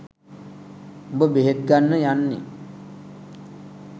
උඹ බෙහෙත් ගන්න යන්නේ